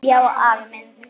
Já, afi minn.